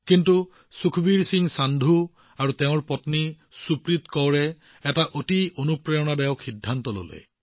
কিন্তু সুখবীৰ সিং সান্ধুজী আৰু তেওঁৰ পত্নী সুপ্ৰীত কৌৰজী তেওঁলোকৰ পৰিয়ালে এক অতি অনুপ্ৰেৰণাদায়ক সিদ্ধান্ত লৈছিল